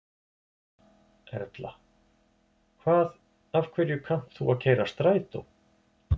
Erla: Hvað af hverju kannt þú að keyra strætó?